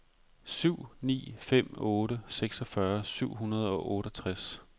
syv ni fem otte seksogfyrre syv hundrede og otteogtres